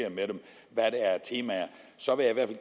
jeg er af temaer så jeg vil